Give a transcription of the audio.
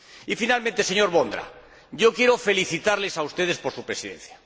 Y finalmente, señor Vondra, yo quiero felicitarles a ustedes por su Presidencia.